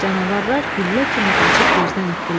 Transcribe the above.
Canavarlar güllə kimi qaçıb gözdən itdirlər.